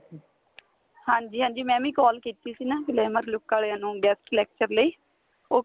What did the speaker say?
ਹਾਂਜੀ ਹਾਂਜੀ ਮੈਂ ਵੀ call ਕੀਤੀ ਸੀ ਨਾ glamour look ਵਾਲਿਆ ਨੂੰ guest lecture ਲਈ ਉਹ